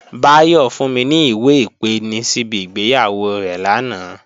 Báyọ̀ fún mi ní ìwé-ìpeni síbi ìgbéyàwó rẹ̀ lánàá